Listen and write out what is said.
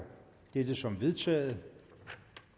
dette som vedtaget